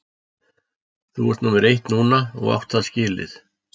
Þú ert númer eitt núna og átt það skilið.